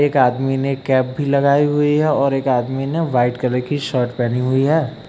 एक आदमी ने कैप भी लगाई हुई है और एक आदमी ने व्हाइट कलर की शर्ट पहनी हुई है।